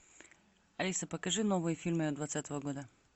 алиса покажи новые фильмы двадцатого года